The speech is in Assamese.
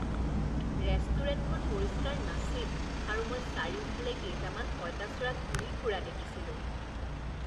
ৰেষ্টুৰেণ্টখন পৰিষ্কাৰ নাছিল আৰু মই চাৰিওফালে কেইটামান পঁইতাচোৰা ঘূৰি ফুৰা দেখিছিলোঁ